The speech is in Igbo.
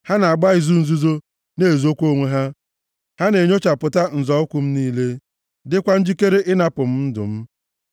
Ha na-agba izu nzuzo na-ezokwa onwe ha, ha na-enyochapụta nzọ ụkwụ m niile, dịkwa njikere ịnapụ m ndụ m.